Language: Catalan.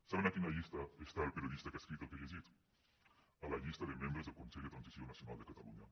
saben a quina llista està el periodista que ha escrit el que he llegit a la llista de membres del consell per a la transició nacional de catalunya